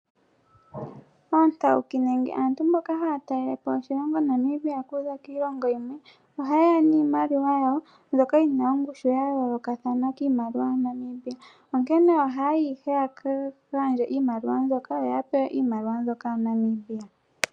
Oontauki, nenge aantu mboka haya talelepo oshilongo shaNamibia, ohayeya niimaliwa yawo, mbyoka yina ongushu ya yoolokathana kiimaliwa yaNamibia. Onkene, ohayayi ihe yaka gandje iimaliwa mbyoka yo yapewe iimaliwa mbyoka yaNamibia.